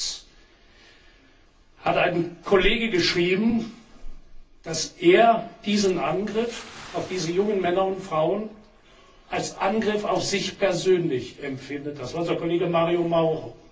Und zwar hat ein Kollege geschrieben, dass er diesen Angriff auf diese jungen Männer und Frauen als Angriff auf sich persönlich empfindet. Das war unser Kollege Mario Mauro.